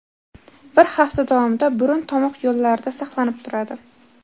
bir hafta davomida burun-tomoq yo‘llarida saqlanib turadi.